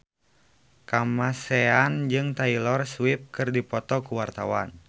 Kamasean jeung Taylor Swift keur dipoto ku wartawan